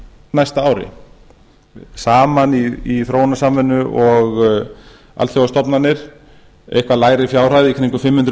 næsta ári saman í þróunarsamvinnu og alþjóðastofnanir eitthvað lægri fjárhæð í kringum